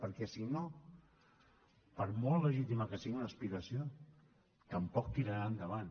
perquè si no per molt legítima que sigui una aspiració tampoc tirarà endavant